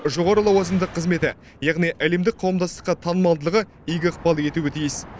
жоғары лауазымды қызметі яғни әлемдік қауымдастыққа танымалдылығы игі ықпал етуі тиіс